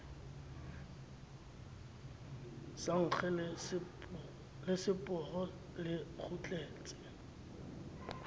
sa nkge leseporo le kgutletse